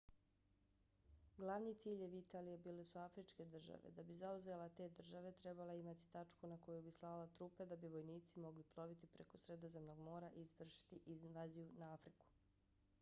glavni ciljevi italije bile su afričke države. da bi zauzela te države trebala je imati tačku na koju bi slala trupe da bi vojnici mogli ploviti preko sredozemnog mora i izvršiti invaziju na afriku